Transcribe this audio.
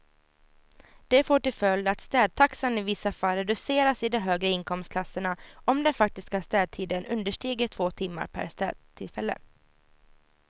Det får till följd att städtaxan i vissa fall reduceras i de högre inkomstklasserna om den faktiska städtiden understiger två timmar per städtillfälle.